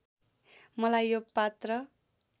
मलाई यो पात्र